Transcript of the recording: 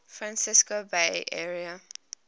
francisco bay area